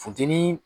Funteni